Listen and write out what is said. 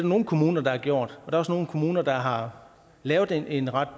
nogle kommuner der har gjort der er også nogle kommuner der har lavet en ret